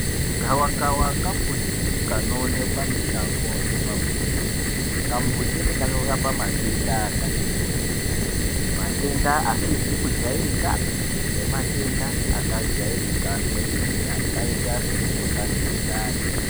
Gawakawa kambuti kanowonekwa mushango nepamuzi, kambuti aka kanorapa matenda akati kuti, matenda asizi kujayirikapi nematenda akajayirika kwemene, akayita semukuhlani wemundani.